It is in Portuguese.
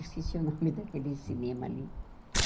Esqueci o nome daquele cinema ali.